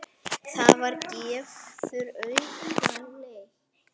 Það gefur auga leið